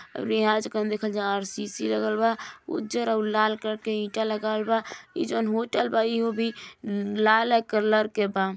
ओरी सीसी लागल बा उजर और लाल कलर के ईटा लगावल बा ई जॉन होटल बा इहो बी लाले कलर के बा --